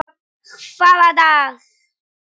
Hvaða dag?